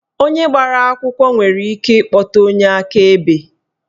Onye agbara akwụkwọ nwere ike ikpọta onye akaebe.